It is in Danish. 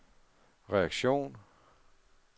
reaktion